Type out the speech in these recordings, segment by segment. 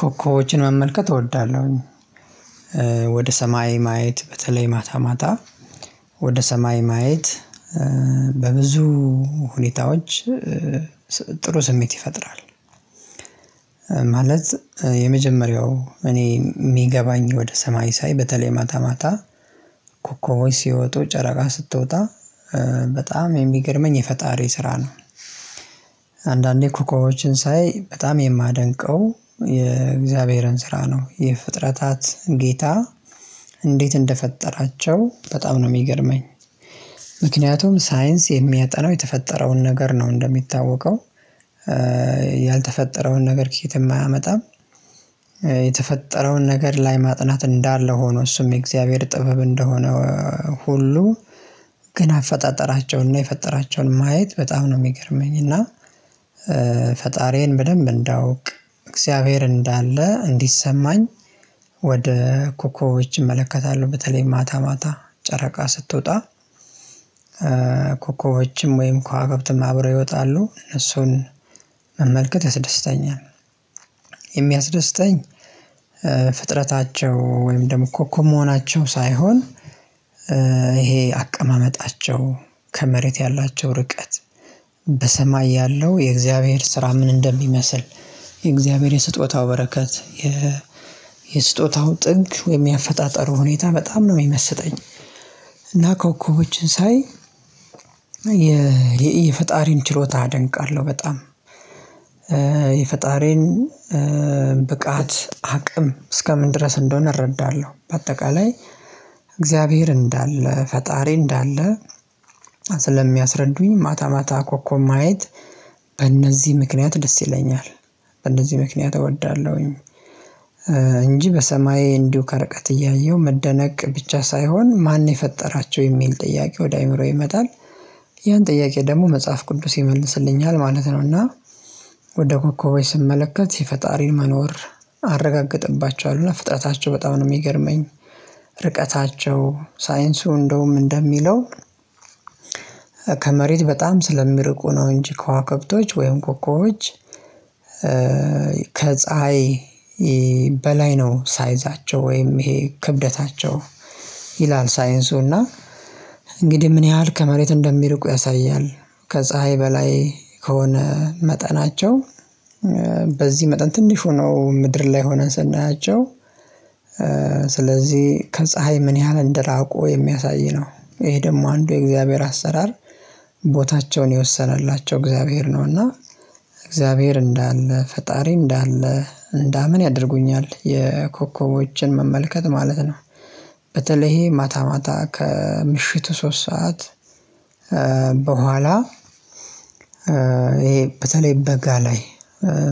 ኮኮቦችን መመልከት እወዳለሁኝ። ወደ ሰማይ ማየት በተለይ ማታ ማታ ወደ ሰማይ ማየት። በብዙ ሁኔታዎች ጥሩ ስሜት ይፈጥራል። ማለት የመጀመሪያው እኔ የሚገባኝ ወደ ሰማይ ሳይ በተለይ ማታ ማታ ኮኮቦች ሲወጡ ጨረቃ ስትወጣ በጣም የሚገርመኝ የፈጣሪ ስራ ነው። አንዳንዴ ኮኮቦችን ሳይ በጣም የማደንቀው የእግዚአብሔርን ስራ ነው የፍጥረታት ጌታ እንዴት እንደፈጠራቸው በጣም ነው የሚገርመኝ። ምክንያቱም ሳይንስ የሚያጠናው የተፈጠረውን ነገር ነው እንደሚታወቀው። ያልተፈጠረውን ነገር ከየትም አያመጣም። የተፈጠረውን ነገር ላይ ማጥናት እንዳለ ሆኖ እሱም የእግዚአብሔር ጥበብ እንደሆነ። ሁሉ ግን አፈጣጠራቸውን እና የፈጠራቸውን ማየት በጣም ነው የሚገርመኝ። እና ፈጣሪዬን በደንብ እንዳውቅ እግዚአብሔር እንዳለ እንዲሰማኝ። ወደ ኮኮቦች እመለከታለሁ በተለይ ማታ ማታ ጨረቃ ስትወጣ ኮኮቦችም ወይም ከዋክብትም አብረህ ይወጣሉ እሱን መመልከት ያስደስተኛል። የሚያስደስተኝ ፍጥረታቸው ወይም ደግሞ ኮኮብ መሆናቸው ሳይሆን። ይሄ አቀማመጣቸው ከመሬት ያላቸው ርቀት በሰማይ ያለው የእግዚአብሔር ስራ ምን እንደሚመስል። የእግዚአብሔር የስጦታው በረከት የ የስጦታው ጥግ ወይም የአያፈጣጠሩ ሁኔታ በጣም ነው የሚመስጠኝ። እና ኮኮቦችን ሳይ የፈጣሪን ችሎታ አደንቃለሁ። በጣም የፈጣሪን ብቃት አቅም እስከምን ድረስ እንደሆነ እረዳለሁ። በአጠቃላይ እግዚአብሔር እንዳለ ፈጣሪ እንዳለ ስለሚያስረዱኝ ማታ ማታ ኮኮብ ማየት። በእነዚህ ምክንያት ደስ ይለኛል በእነዚህ ምክንያት እወዳለሁኝ። እንጂ በሰማይ እንዲሁ ከረቀት እያየሁ መደነቅ ብቻ ሳይሆን ማን የፈጠራቸው የሚል ጥያቄ ወደ አእምሮዬ ይመጣል። ያን ጥያቄ ደግሞ መጽሐፍ ቅዱስ ይመልስልኛል። ማለት እና ወደ ኮኮቦች ስመለከት የፈጣሪን መኖር። አረጋግጥባቸዋል እና ፍጥረታቸው በጣም ነው የሚገርመኝ። ርቀታቸው ሳይንሱ እንደውም እንደሚለው። ከመሬት በጣም ስለሚርቁ ነው እንጂ ከዋክብቶች ወይም ኮኮቦች ከፀሀይ በላይ ነው ሳይዛቸው ወይም ይሄ ክብደታቸው ይላል። ሳይንሱ እና እንግዲህ ምን ያህል ከመሬት እንደሚርቁ ያሳያል። ከፀሀይ በላይ ከሆነ መጠናቸው በዚህ መጠን ትንሽ ሁነው ምድር ላይ ሆነን ስናያቸው። ስለዚህ ከፀሀይ ምን ያህል እንደራቆ የሚያሳይ ነው። ይሄ ደግሞ አንዱ የእግዚአብሔር አሰራር። ቦታቸውን የወሰነላቸው እግዚአብሔር ነውና እግዚአብሔር እንዳለ ፈጣሪ እንዳለ እንዳምን ያደርጉኛል የኮከቦችን መመልከት ማለት ነው። በተለይ ይሄ ማታ ማታ ከምሽቱ ሶስት ሰዓት በኋላ ይሄ በተለይ በጋ ላይ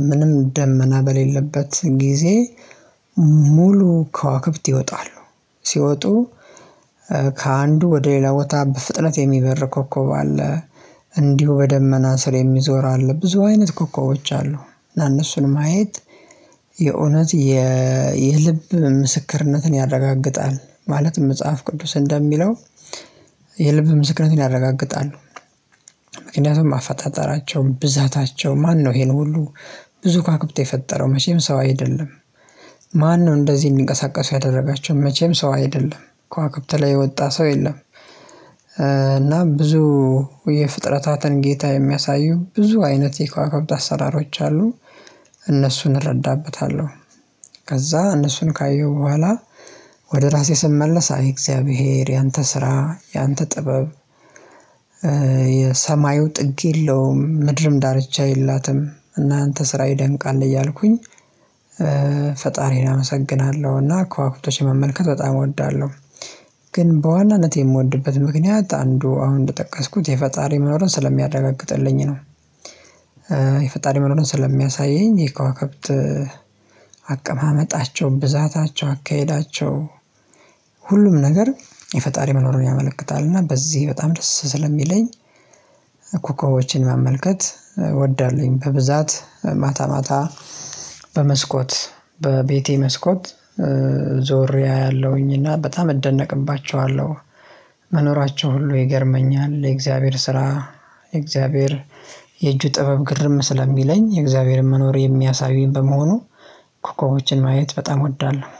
ምንም ደመና በሌለበት ጊዜ ሙሉ ከዋክብት ይወጣሉ። ሲወጡ ከአንዱ ወደ ሌላ ቦታ በፍጥነት የሚበር ኮከብ አለ። እንዲሁ በደመና ስር የሚዞር አለ ብዙ አይነት ኮከቦች አሉ። እነሱን ማየት የእውነት የልብ ምስክርነትን ያረጋግጣል። ማለት መጽሐፍ ቅዱስ እንደሚለው። የልብ ምስክርነትን ያረጋግጣሉ። ምክንያቱም አፈጣጠራቸው ብዛታቸው ማነው ይሄን ሁሉ ብዙ ከዋክብት የፈጠረው መቼም ሰው አይደለም። ማነው እንደዚህ እንዲንቀሳቀሱ ያደረጋቸው መቼም ሰው አይደለም ከዋክብት ላይ የወጣ ሰው የለም። እና ብዙ የፍጥረታትን ጌታ የሚያሳዩ ብዙ አይነት የኳኳብት አሰራሮች አሉ። እነሱን እረዳበታለሁ። ከዛ እነሱን ካየሁ በኋላ ወደ ራሴ ስመለስ አይ እግዚአብሔር ያንተ ስራ ያንተ ጥበብ። የሰማዩ ጥግ የለውም ምድርም ዳርቻ የላትም እናንተ ስራ ይደንቃል እያልኩኝ። ፈጣሪዬን አመሰግናለሁና ከዋክብቶች መመልከት በጣም እወዳለሁ። ግን በዋናነት የምወድበት ምክንያት አንዱ አሁን እንደጠቀስኩት የፈጣሪ መኖሩን ስለሚያረጋግጥልኝ ነው። የፈጣሪ መኖሩን ስለሚያሳየኝ የከዋክብት አቀማመጣቸው ብዛታቸው አካሄዳቸው። ሁሉም ነገር የፈጣሪ መኖሩን ያመለክታል። እና በዚህ በጣም ደስ ስለሚለኝ። ኮኮቦችን መመልከት እወዳለሁኝ። በብዛት ማታ ማታ በመስኮት በቤቴ መስኮት ዞሬ አያለሁኝ እና በጣም እደነቅባቸዋለሁ። መኖራቸው ሁሉ ይገርመኛል የእግዚአብሔር ስራ የእግዚአብሔር የእጁ ጥበብ ግርም ስለሚለኝ የእግዚአብሔርን መኖር የሚያሳዩኝ በመሆኑ። ኮኮቦችን ማየት በጣም እወዳለሁ